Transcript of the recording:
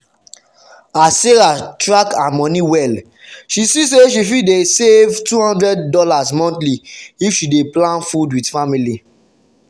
as sarah track her money well she see say she fit save $200 monthly if she plan food with family.